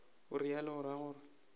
o realo o ra gore